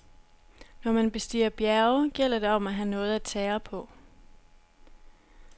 Når man bestiger bjerge, gælder det om at have noget at tære på.